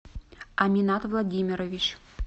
аминат владимирович